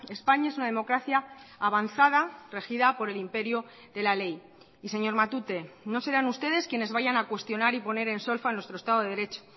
españa es una democracia avanzada regida por el imperio de la ley y señor matute no serán ustedes quienes vayan a cuestionar y poner en solfa nuestro estado de derecho